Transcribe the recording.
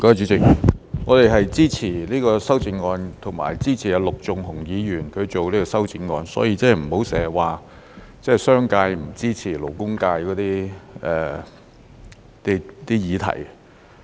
主席，我們是支持這項修正案和支持陸頌雄議員提出的修正案，所以不要經常說商界不支持勞工界的議題。